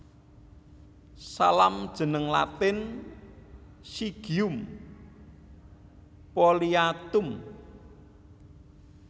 Salam jeneng Latin Syzygium polyanthum